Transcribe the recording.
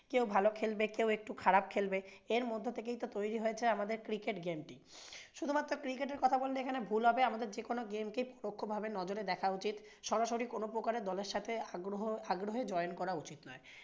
কেউ ভালো খেলবে, কেউ একটু খারাপ খেলবে এর মধ্যে থেকেই তো তৈরী হয়ে যাই আমাদের cricket game টি। শুধুমাত্র আমাদের cricket এর কথা বললে এখানে ভুল হবে আমাদের যেকোনো game কেই নজরে দেখা উচিত। সরাসরি কোনোপ্রকার-এর দলের সাথে আগ্রহে join করা উচিত নয়।